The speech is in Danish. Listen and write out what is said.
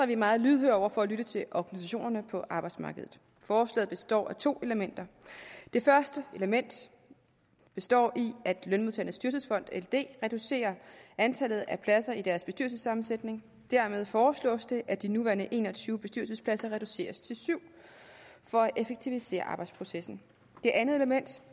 vi meget lydhøre over for at lytte til organisationerne på arbejdsmarkedet forslaget består af to elementer det første element består i at lønmodtagernes dyrtidsfond ld reducerer antallet af pladser i deres bestyrelsessammensætning dermed foreslås det at de nuværende en og tyve bestyrelsespladser reduceres til syv for at effektivisere arbejdsprocessen det andet element